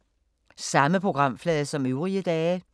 Samme programflade som øvrige dage